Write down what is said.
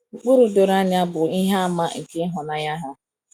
Ụkpụrụ doro anya bụ ihe àmà nke ịhụnanya ha.